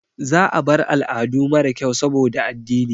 Za a bar al'adu mara kyau saboda addini.